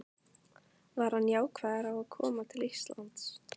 Var hann jákvæður á að koma til Íslands?